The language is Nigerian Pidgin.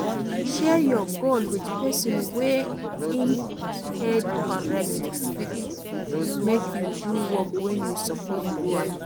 Share your goal with person wey im head correct to fit make you do work when you suppose do am